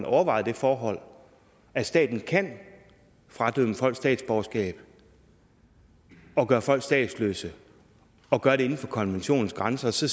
overvejet det forhold at staten kan fradømme folk statsborgerskab og gøre folk statsløse og gøre det inden for konventionens grænser så